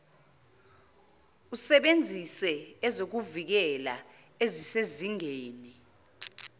usebenzise ezokuvikela ezisezingeni